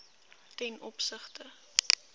ten opsigte